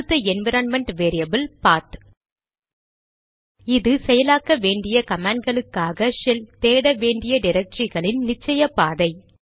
அடுத்த environment variable path இது செயலாக்க வேண்டிய கமாண்ட்களுக்காக ஷெல் தேட வேண்டிய டிரக்டரிகளின் நிச்சய பாதை